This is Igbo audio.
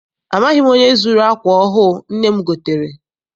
Amaghị m onye zuru akwa ọhụụ nne m gotere.